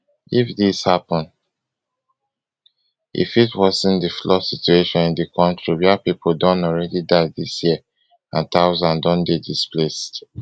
if dis happun e fit worsen di flood situation in di kontri wia pipo don already die dis year and thousands don dey displaced